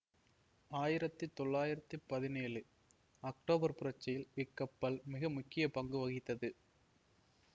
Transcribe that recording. ஆயிரத்தி தொளாயிரத்தி பதினேழு அக்டோபர் புரட்சியில் இக்கப்பல் மிக முக்கிய பங்கு வகித்தது